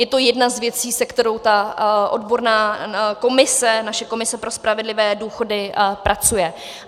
Je to jedna z věcí, se kterou ta odborná komise, naše komise pro spravedlivé důchody, pracuje.